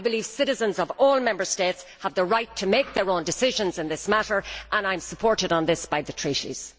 I believe citizens of all Member States have the right to make their own decisions in this matter, and I am supported on this by the Treaties.